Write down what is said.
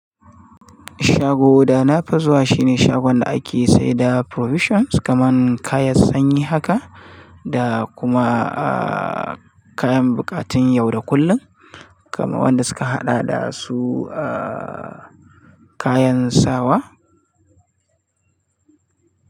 Shago da na fi zuwa shi ne shagon da ake saida provisions kamar kayan sanyi haka da kuma kayan buƙatun yau da kullum kaman wanda suka haɗa da su kayan sawa.